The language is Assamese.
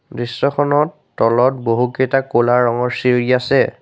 দৃশ্যখনত তলত বহুকেইটা ক'লা ৰঙৰ চিৰি আছে।